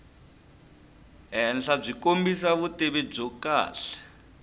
henhlabyi kombisa vutivi byo kahle